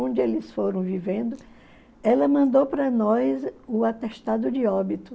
Onde eles foram vivendo, ela mandou para nós o atestado de óbito.